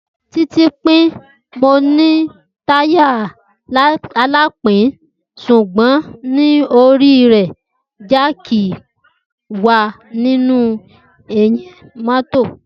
Titi pin, Mo ni taya alapin, ṣugbọn ni Oriire, Jack wa ninu ẹhin mọto.